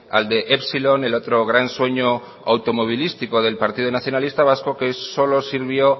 al de epsilon el otro gran sueño automovilístico del partido nacionalista vasco que solo sirvió